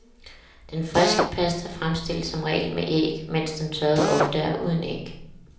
Den friske pasta fremstilles som regel med æg, mens den tørrede ofte er uden æg.